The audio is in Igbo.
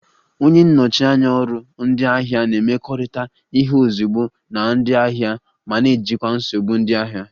Onye nnọchi anya ọrụ ndị ahịa na-emekọrịta ihe ozugbo na ndị ahịa ma na-ejikwa nsogbu ndị ahịa